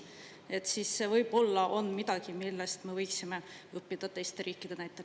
Et siis võib-olla on midagi, millest me võiksime õppida teiste riikide näitel.